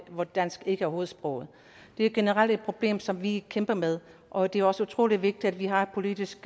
hvor dansk ikke er hovedsproget det er et generelt problem som vi kæmper med og det er også utrolig vigtigt at vi har politisk